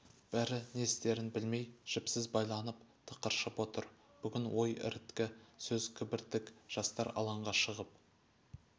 бәрі не істерн білмей жіпсіз байланып тықыршып отыр бүгін ой іріткі сөз кібіртік жастар алаңға шығып